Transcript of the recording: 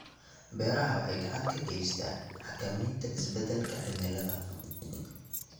Beeraha Beeraha waxay gacan ka geystaan ??xakamaynta isbeddelka cimilada.